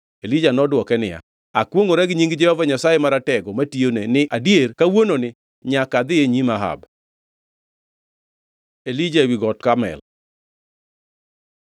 Elija nodwoke niya, “Akwongʼora gi nying Jehova Nyasaye Maratego, matiyone, ni adier kawuononi nyaka adhi e nyim Ahab.” Elija ewi Got Karmel